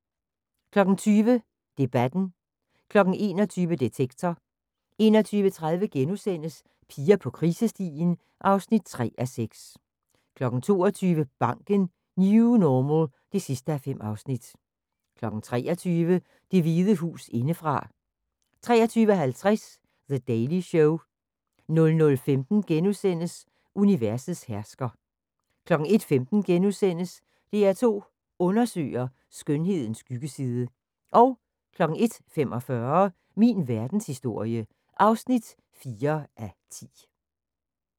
20:00: Debatten 21:00: Detektor 21:30: Piger på krisestien (3:6)* 22:00: Banken – New normal (5:5) 23:00: Det Hvide Hus indefra 23:50: The Daily Show 00:15: Universets hersker * 01:15: DR2 Undersøger: Skønhedens skyggeside * 01:45: Min verdenshistorie (4:10)